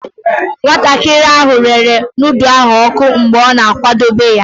Nwatakịrị ahụ rere nudu ahụ oku mgbe ọ na-akwadebe ya.